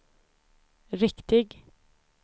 riktig